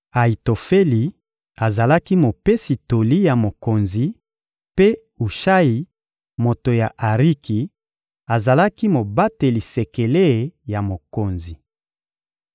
Ayitofeli azalaki mopesi toli ya mokonzi; mpe Ushayi, moto ya Ariki, azalaki mobateli sekele ya mokonzi.